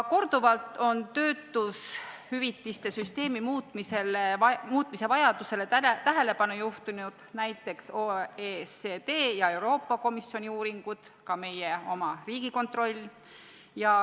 Korduvalt on töötushüvitiste süsteemi muutmise vajadusele tähelepanu juhtinud näiteks OECD ja Euroopa Komisjoni uuringud, samuti meie oma Riigikontroll.